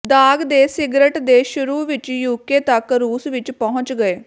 ਦਾਗ ਦੇ ਸਿਗਰਟ ਦੇ ਸ਼ੁਰੂ ਵਿਚ ਯੂਕੇ ਤੱਕ ਰੂਸ ਵਿਚ ਪਹੁੰਚ ਗਏ